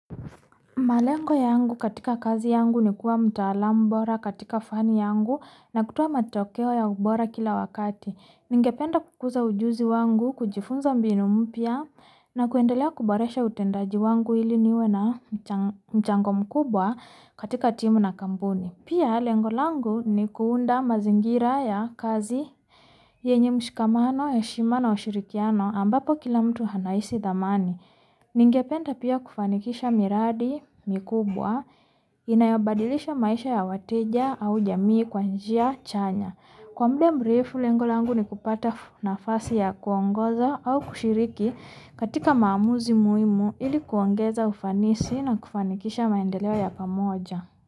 Malengo ya angu katika kazi ya angu ni kuwa mtala bora katika fani yangu na kutowa matokeho ya ubora kila wakati. Ningapenda kukuza ujuzi wangu, kujifunza mbinumpya, na kuendelia kuboresha utendaji wangu ili niwena mchango mukubwa katika timu na kampuni. Pia, lengolangu ni kuunda mazingira ya kazi yenye mshikamano, heshima na ushirikiano ambapo kila mtu anaisi dhamani. Ningependa pia kufanikisha miradi mkubwa, inayabadilisha maisha ya wateja au jamii kwanjia chanya. Kwa mde mbrefu lengolangu ni kupata na fasi ya kuwangoza au kushiriki katika maamuzi muimu ili kuwongeza ufanisi na kufanikisha maendelia ya kamoja.